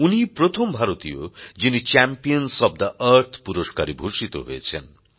উনিই প্রথম ভারতীয় যিনি চ্যাম্পিয়নসফ থে আর্থ পুরস্কারে ভূষিত হয়েছেন